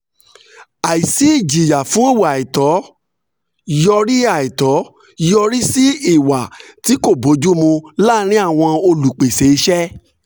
àìsí ìjìyà fún ìwà àìtọ́ yọrí àìtọ́ yọrí sí ìwà tí kò bójú mu láàrín olùpèsè iṣẹ́.